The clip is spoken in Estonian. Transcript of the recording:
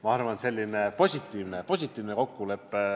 Ma arvan, et see on selline positiivne kokkulepe.